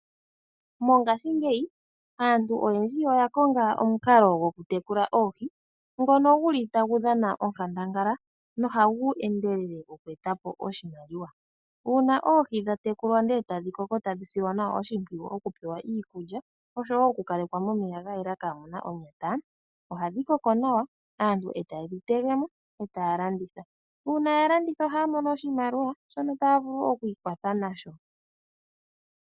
Mongashingeyi, aantu oyendji oya konga omukalo gwokutekula oohi ngono guli tagu dhana onkandangala noha gu endelele moku eta po oshimaliwa. Uuna oohi dha tekulwa ndele eta dhi kongo tadhi silwa nawa oshimpwiyu okupewa iikulya oshowo okukalekwa momeya ga yela kaamu na onyata, ohadhi koko nawa, aantu taye dhi tege mo eta ya landitha. Uuna ya landitha ohaya mono oshimaliwa shono taya vulu okwiikwatha nasho.